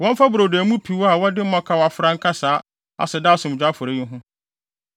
Wɔmfa brodo a emu piw a wɔde mmɔkaw afra nka saa aseda asomdwoe afɔre yi ho.